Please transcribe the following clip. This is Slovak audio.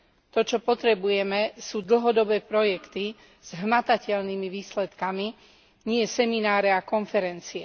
To, čo potrebujeme, sú dlhodobé projekty s hmatateľnými výsledkami, nie semináre a konferencie.